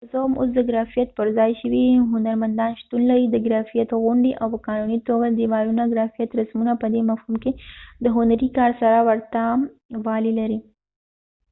که څه هم ، اوس دګرافیت پر ځای شوي هنرمندان شتون لري.د ګرافیت غونډی او په قانونی توګه ديوالونه.ګرافیت رسمونه په دي مفهوم کې د هنری کار سره ورته والی لري